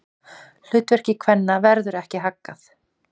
Hlutverki kvenna verður ekki haggað.